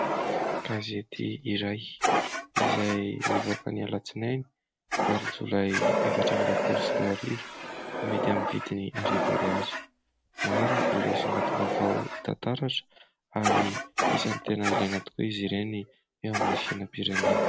Gazety iray, izay nivoaka ny alatsinainy valo jolay efatra amby roapolo sy roa arivo, amidy amin'ny vidiny arivo ariary. Maro ireo songadim-baovao hita taratra ary isany tena ilaina tokoa izy ireny eo amin'ny fiainam-pirenena.